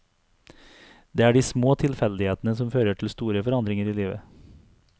Det er de små tilfeldighetene som fører til store forandringer i livet.